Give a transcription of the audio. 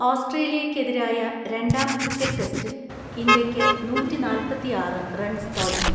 ഓസ്ട്രേലിയക്കെതിരായ രണ്ടാം ക്രിക്കറ്റ് ടെസ്റ്റിൽ ഇന്ത്യയ്ക്ക് നൂറ്റിനാല്പത്തിആറ് റൺസ് തോൽവി.